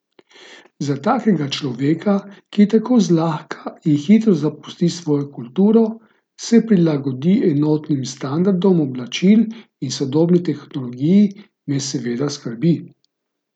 Za takega človeka, ki tako zlahka in hitro zapusti svojo kulturo, se prilagodi enotnim standardom oblačil in sodobni tehnologiji, me seveda skrbi.